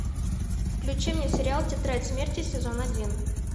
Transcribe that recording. включи мне сериал тетрадь смерти сезон один